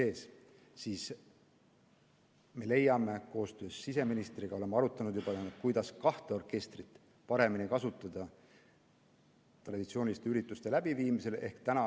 Me oleme juba koostöös siseministriga arutanud, kuidas kahte orkestrit traditsiooniliste ürituste läbiviimisel paremini kasutada.